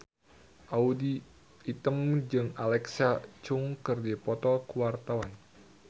Audy Item jeung Alexa Chung keur dipoto ku wartawan